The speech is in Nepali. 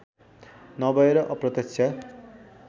नभएर अप्रत्यक्ष